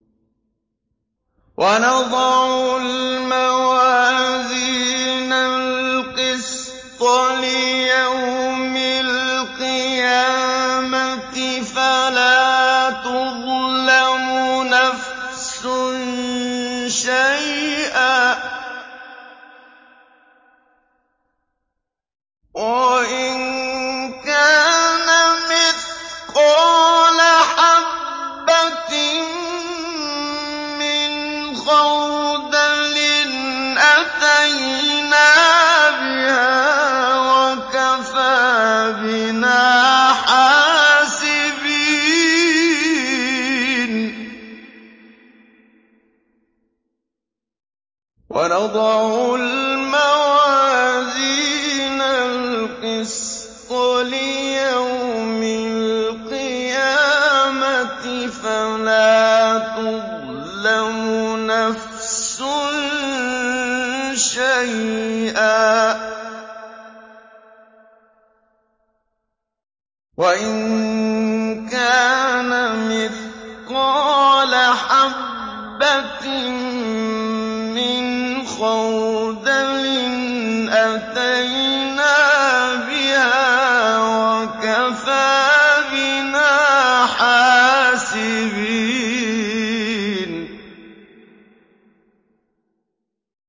وَنَضَعُ الْمَوَازِينَ الْقِسْطَ لِيَوْمِ الْقِيَامَةِ فَلَا تُظْلَمُ نَفْسٌ شَيْئًا ۖ وَإِن كَانَ مِثْقَالَ حَبَّةٍ مِّنْ خَرْدَلٍ أَتَيْنَا بِهَا ۗ وَكَفَىٰ بِنَا حَاسِبِينَ